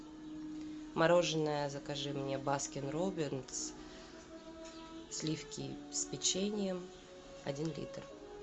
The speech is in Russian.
мороженое закажи мне баскин роббинс сливки с печеньем один литр